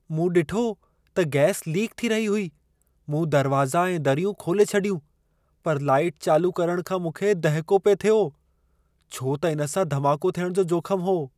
मूं ॾिठो त गैस लीक थी रही हुई। मूं दरवाज़ा ऐं दरियूं खोले छॾियूं, पर लाइट चालू करण खां मूंखे दहिको पिए थियो। छो त इन सां धमाको थियणु जो जोख़म हो।